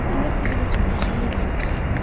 Əslində Sibil heç çox yaşamayıb ki, ölsün.